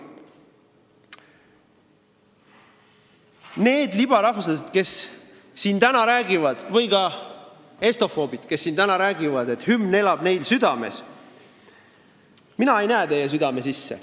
Need libarahvuslased, kes siin täna räägivad, või ka estofoobid, kes siin täna räägivad, et hümn elab neil südames – mina ei näe teie südame sisse.